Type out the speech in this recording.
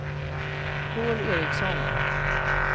Paul Ericson